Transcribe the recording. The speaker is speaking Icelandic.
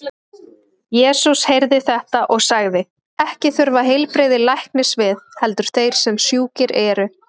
Jesús heyrði þetta og sagði: Ekki þurfa heilbrigðir læknis við, heldur þeir sem sjúkir eru.